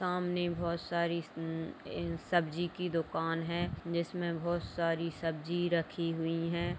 सामने बहुत सारी सब्जी की दुकान है जिसमें बहुत सारी सब्जी रखी हुई है।